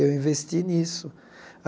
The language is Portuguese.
Eu investi nisso.